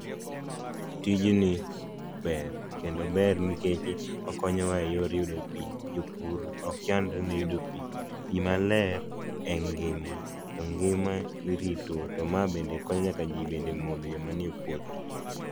Tijni ber kendo ober nikeche okonyowa e yor yudo pi, jopur ok chandre ne yudo pi, pi maler en ngima to ngima irito to ma bende konyo nyaka ji e modho nyaka joma nie puothe.